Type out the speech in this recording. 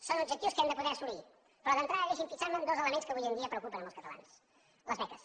són objectius que hem de poder assolir però d’entrada deixin me fixar en dos elements que avui dia preocupen molts catalans les beques